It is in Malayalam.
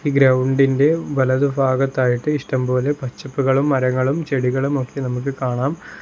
ഗ്രൗണ്ടിന്റെ വലതുഭാഗത്തായിട്ട് ഇഷ്ടംപോലെ പച്ചപ്പുകളും മരങ്ങളും ചെടികളും ഒക്കെ നമുക്ക് കാണാം.